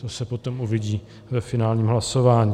To se potom uvidí ve finálním hlasování.